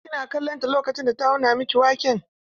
Kina kallon ta lokacin da ta auna miki waken?